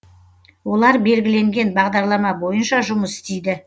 олар белгіленген бағдарлама бойынша жұмыс істейді